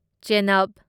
ꯆꯦꯅꯕ